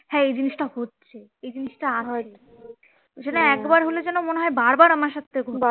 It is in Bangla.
হ্যাঁ এই জিনিস্ টা হচ্ছে এই জিনিসটা আর হয় নি সেটা একবার হলে যেন মনে হয় বার বার আমার সাথে হচ্ছে,